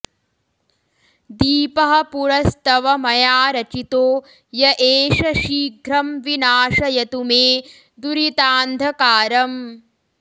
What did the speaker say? दीपः पुरस्तव मया रचितो य एष शीघ्रं विनाशयतु मे दुरितान्धकारम्